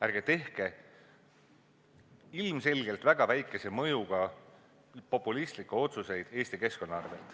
Ärge tehke ilmselgelt väga väikese mõjuga populistlikke otsuseid Eesti keskkonna arvel.